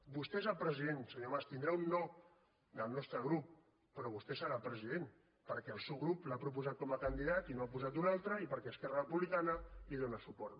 vostè és el president senyor mas tindrà un no del nostre grup però vostè serà president perquè el seu grup l’ha proposat com a candidat i no n’ha posat un altre i perquè esquerra republicana li dóna suport